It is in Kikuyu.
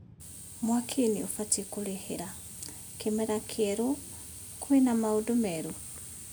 (Mwaki- nĩubatiĩ kũrĩhĩra) Kĩmera kĩerũ, kwĩna maũndũ merũ?